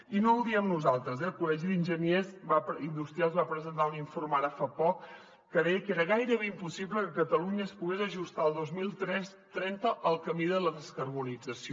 i no ho diem nosaltres eh el col·legi d’enginyers industrials va presentar un informe ara fa poc que deia que era gairebé impossible que catalunya es pogués ajustar el dos mil trenta al camí de la descarbonització